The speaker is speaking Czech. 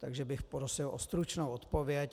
Takže bych prosil o stručnou odpověď.